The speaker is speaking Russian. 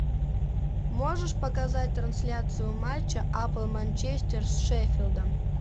можешь показать трансляцию матча апл манчестер с шеффилдом